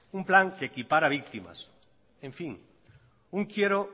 un plan que equipara víctimas en fin un quiero